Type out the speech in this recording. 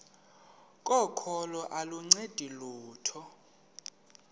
kokholo aluncedi lutho